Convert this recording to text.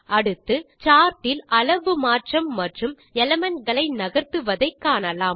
அடுத்து சார்ட் இல் அளவு மாற்றம் மற்றும் எலிமெண்ட் களை நகர்த்துவதை காணலாம்